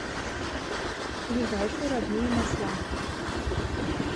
ближайший родные масла